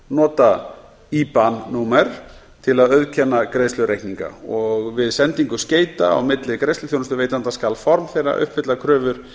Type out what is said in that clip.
nota iban númer til að auðkenna greiðslureikninga og við sendingu skeyta á milli greiðsluþjónustuveitenda skal form þeirra uppfylla kröfur